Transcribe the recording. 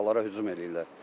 uşaqlara hücum eləyirlər.